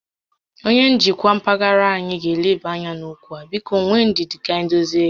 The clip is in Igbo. Onyé njikwa mpaghara anyị ga eleba ányá n'okwu a, biko nwee ndidi ka anyị dozie ya